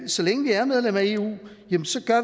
så længe vi er medlem af eu at